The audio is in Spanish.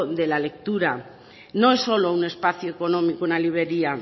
de la lectura no es solo un espacio económico una librería